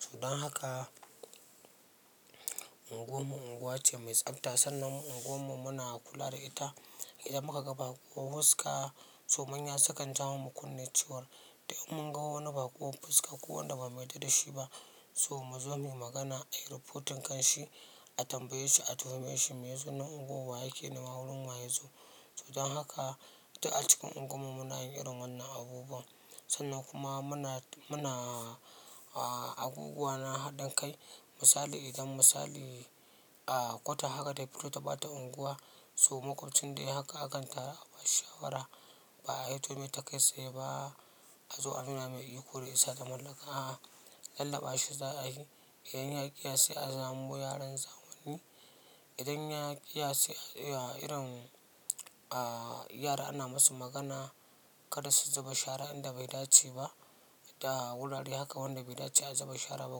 To dan haka unguwar mu unguwa ce mai tsafta sannan unguwar mu muna kula da ita. Idan muka ga baƙuwar fuska, to manya sukan jawo mamu kunne cewar. Idan mun ga wani baƙon fuska ko wanda ba mu yarda da shi ba to mu zo mu yi magana, ayi rafotin kan shi, a tambaye shi, a tuhume shi, me yazo nan unguwar, wa yake nema, wurin wa yazo. So dan haka duk a cikin unguwar mu muna yin irin wannan abubuwan. Sannan kuma muna, muna a abubuwa na haɗin kai. Misali idan misali a kwata haka ta fito ta ɓata unguwa, so makwabcin dai haka akan taru a ba shi shawara ba a fito mai ta kai tsaye ba, a zo a nuna mai iko da isa da mallaka. A'a, lallaɓa shi za ayi. Idan ya ƙiya sai a zamo yaron zamani. Idan ya ƙiya sai a yi wa irin a yara ana musu magana kar su zuba shara inda bai dace ba. Da wurare haka wanda bai dace a zuba shara ba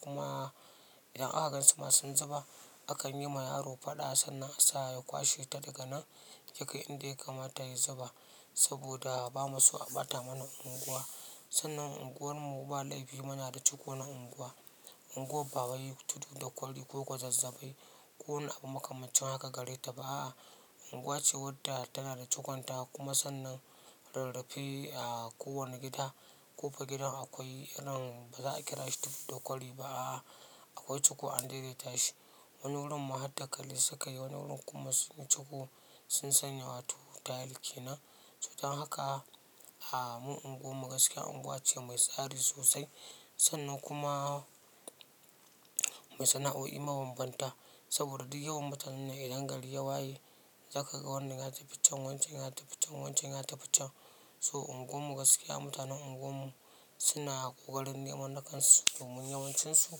kuma idan aka gansu ma sun zuba akan yi ma yaro faɗa sannan a sa ya kwashe ta daga nan, ya kai inda ya kamata ya zuba. Saboda ba mu so a ɓata mana unguwa. Sannan unguwar mu ba laifi muna da ciko na unguwa. Unguwar ba wai tudu da kwali ko gwazazzabai ko abu makamancin haka gare ta ba a'a. Unguwa ce wadda tana da cikonta kuma sannan rarrafe a kowane gida. Ƙofa gidan akwai irin ba za a kira shi tudu da kwari ba a'a. Akwai ciko an daidaita shi. Wani wurin ma har dakali suka yi wani wurin kuma sun yi ciko sun sanya wato tayil kenan. To dan haka, ah, mu unguwar mu gaskiya unguwa ce mai tsari sosai, sannan kuma, mu sana'o'i ma bamu bar ta ba, soboda duk yawan mutanen nan idan gari ya waye, zaka ga wannan ya tafi can wancan ya tafi can wancan ya tafi can So unguwar mu gaskiya mutanen unguwar mu suna ƙoƙarin neman na kansu domin yawancinsu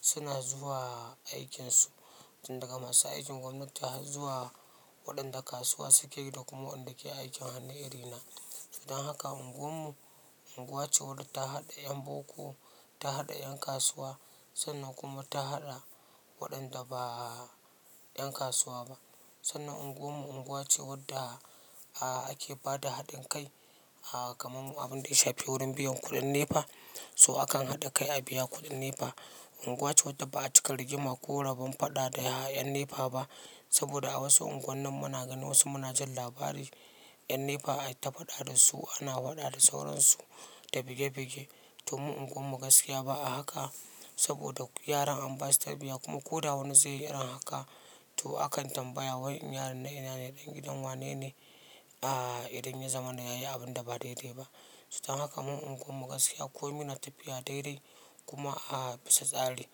suna zuwa aikinsu. Tun daga masu aikin gwamnati har zuwa waɗanda kasuwa suke yi da kuma waɗanda ke aikin hannu iri na. To dan haka unguwar mu unguwa ce wadda ta haɗa ƴan boko, ta haɗa ƴan kasuwa, sannan kuma ta haɗa waɗanda ba ƴan kasuwa ba sannan unguwar mu unguwa ce wadda a ake ba da haɗin kai a kamar mu abun da ya shafi wurin biyan kuɗin nefa so akan haɗa kai a biya kuɗin nefa. Unguwa ce wadda ba a cika rigima ko raban faɗa da 'yan nefa ba. Saboda a wasu unguwannin muna ganin wasu muna jin labari 'yan nefa ai ta faɗa da su ana faɗa da sauransu da bige bige. To mu unguwar mu gaskiya ba a haka saboda yaran an basu tarbiyya kuma ko da wani zai yi irin haka to akan tambaya wai in yaron na ina ne? Ɗan gidan wanene? A idan ya zamana yayi abin da ba daidai ba. So dan haka mu unguwar mu gaskiya komi na tafiya daidai kuma a bisa tsari.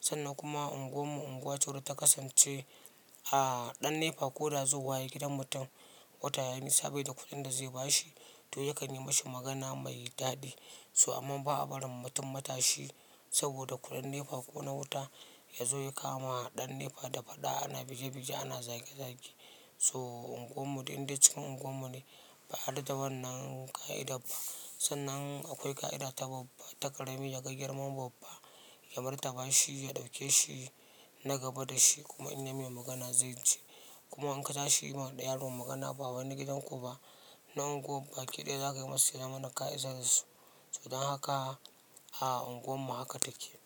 Sannan kuma unguwar mu unguwa ce wadda ta kasance, ɗan nefa ko da zauwa yayi gidan mutum, wata yayi nisa bai da kuɗin da zai ba shiz to ya kan yi mashi magana mai daɗi. So amman ba a barin mutum mata shi saboda kuɗin nefa ko na wuta ya zo ya kama ɗan nefa da faɗa ana bige bige ana zage zage. So unguwar mu duk inda cikin unguwar mu ne, ba a yarda da wannan ƙa'idar ba. Sannan akwai ƙa'ida ta babba, ta ƙarami ya ga girman babba ya martaba shi, ya ɗauke shi na gaba da shi kuma in ya mai magana zai ji. Kuma in ka tashi yi ma ɗan yaro magana ba wai na gidan ku ba, nan unguwar baki ɗaya zaka yi masa ya zamana ƙa'idarsu. So dan haka a unguwar mu haka take.